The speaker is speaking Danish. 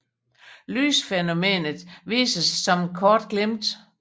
Lysfænomenet viser sig som et kort glimt